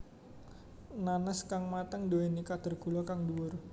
Nanas kang mateng nduwéni kadar gula kang dhuwur